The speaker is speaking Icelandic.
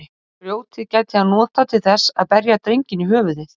Grjótið gæti hann notað til þess að berja drenginn í höfuðið.